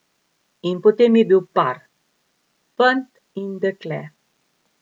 In potem je bil par, fant in dekle.